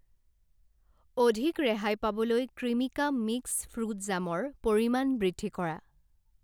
অধিক ৰেহাই পাবলৈ ক্ৰিমিকা মিক্স ফ্ৰুট জামৰ পৰিমাণ বৃদ্ধি কৰা।